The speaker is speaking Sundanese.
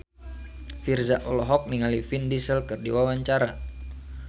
Virzha olohok ningali Vin Diesel keur diwawancara